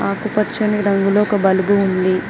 ఆకుపచ్చని రంగులో ఒక బుల్బు ఉంది.